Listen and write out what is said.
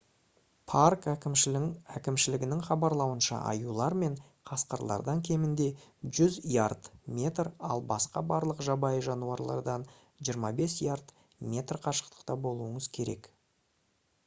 парк әкімшілігінің хабарлауынша аюлар мен қасқырлардан кемінде 100 ярд/метр ал басқа барлық жабайы жануарлардан 25 ярд/метр қашықта болуыңыз керек!